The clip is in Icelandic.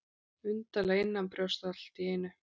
Undarlega innanbrjósts allt í einu.